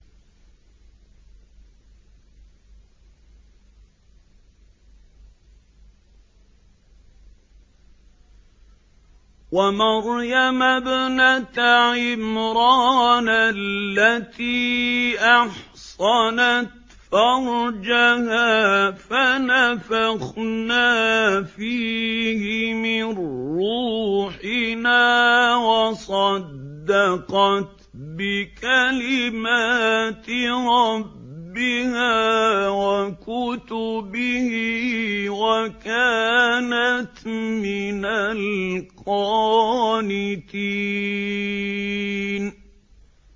وَمَرْيَمَ ابْنَتَ عِمْرَانَ الَّتِي أَحْصَنَتْ فَرْجَهَا فَنَفَخْنَا فِيهِ مِن رُّوحِنَا وَصَدَّقَتْ بِكَلِمَاتِ رَبِّهَا وَكُتُبِهِ وَكَانَتْ مِنَ الْقَانِتِينَ